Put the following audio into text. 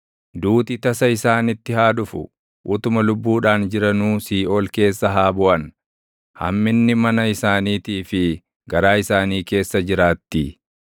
Duuti tasa isaanitti haa dhufu; utuma lubbuudhaan jiranuu siiʼool keessa haa buʼan; hamminni mana isaaniitii fi garaa isaanii keessa jiraattii.